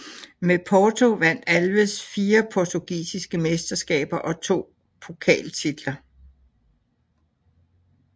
Med Porto vandt Alves fire portugisiske mesterskaber og to pokaltitler